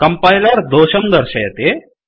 compiler दोषं दर्शयति